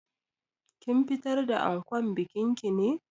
Kin fitar da ankon bikin ki ne?